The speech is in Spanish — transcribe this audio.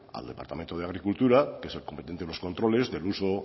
al departamento de agricultura que es el competente en los controles del uso